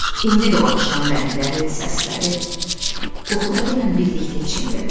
İndi də o axşam rəngləri, səsləri, qoxuları ilə birlikdə içimdədir.